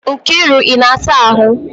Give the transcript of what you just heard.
Nkiru, ị na-asa ahụ?